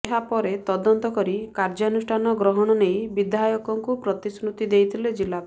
ଏହାପରେ ତଦନ୍ତ କରି କାର୍ଯ୍ୟାନୁଷ୍ଠାନ ଗ୍ରହଣ ନେଇ ବିଧାୟକଙ୍କୁ ପ୍ରତିଶ୍ରୁତି ଦେଇଥିଲେ ଜିଲ୍ଲାପାଳ